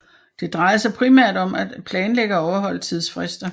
Det drejede sig primært om at planlægge og overholde tidsfrister